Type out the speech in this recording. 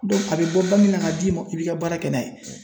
a bɛ daminɛ ka d'i ma [, i b'i ka baara kɛ n'a ye.